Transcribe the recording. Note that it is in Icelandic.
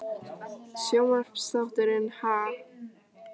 Sjónvarpsþátturinn Ha?